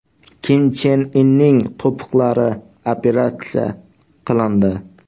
Kim Chen Inning to‘piqlari operatsiya qilindi.